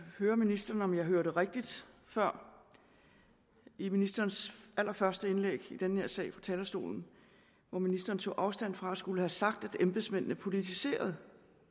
høre ministeren om jeg hørte rigtigt før i ministerens allerførste indlæg i den her sag fra talerstolen hvor ministeren tog afstand fra at skulle have sagt at embedsmændene politiserede